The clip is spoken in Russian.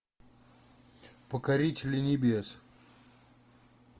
покорители небес